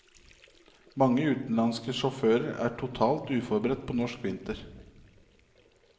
Mange utenlandske sjåfører er totalt uforberedt på norsk vinter.